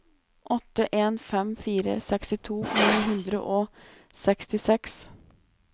åtte en fem fire sekstito ni hundre og sekstiseks